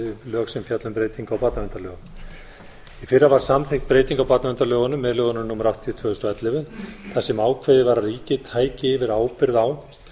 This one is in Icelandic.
lög sem fjalla um breytingu á barnaverndarlögum í fyrra var samþykkt breyting á barnaverndarlögunum með l númer áttatíu tvö þúsund og ellefu þar sem ákveðið var að ríkið tæki yfir ábyrgð á